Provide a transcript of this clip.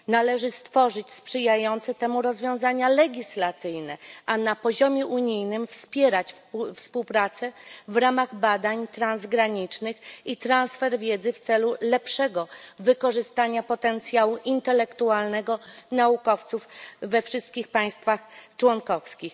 Należy stworzyć sprzyjające temu rozwiązania legislacyjne, a na poziomie unijnym wspierać współpracę w ramach badań transgranicznych i transfer wiedzy w celu lepszego wykorzystania potencjału intelektualnego naukowców we wszystkich państwach członkowskich.